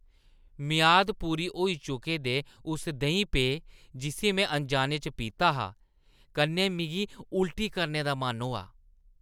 मियाद पूरी होई चुके दे उस देहीं-पेऽ, जिस्सी में अनजाने च पीता हा, कन्नै मिगी उल्टी करने दा मन होआ ।